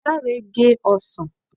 Dare gé ọsàn